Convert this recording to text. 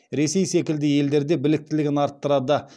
ресей секілді елдерде біліктілігін арттырады